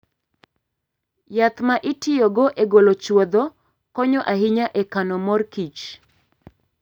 Yath ma itiyogo e golo chwodho konyo ahinya e kano mor kich.